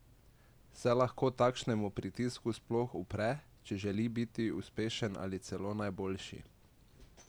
Se lahko takšnemu pritisku sploh upre, če želi biti uspešen ali celo najboljši?